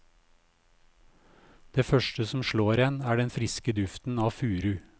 Det første som slår en, er den friske duften av furu.